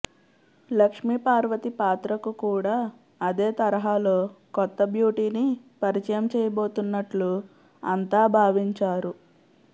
లక్ష్మి పార్వతి పాత్రకు కూడా అదే తరహాలో కొత్త బ్యూటీని పరిచయం చేయబోతున్నట్లు అంతా భావించారు